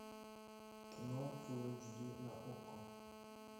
кино фул эйч ди на окко